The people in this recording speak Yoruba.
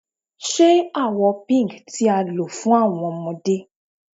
Ṣe awọ Pink ti a lo fun awọn ọmọde